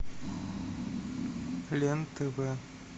лен тв